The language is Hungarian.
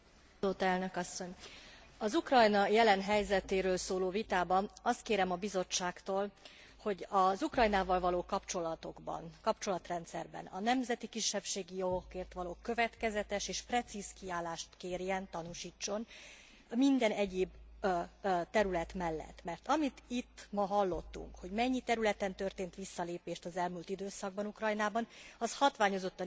Az Ukrajna jelen helyzetéről szóló vitában azt kérem a Bizottságtól, hogy az Ukrajnával való kapcsolatokban, kapcsolatrendszerben a nemzeti kisebbségi jogokért való következetes és precíz kiállást kérjen, tanúsítson minden egyéb terület mellett, mert amit itt ma hallottunk, hogy mennyi területen történt visszalépés az elmúlt időszakban Ukrajnában, az hatványozottan igaz a kisebbségi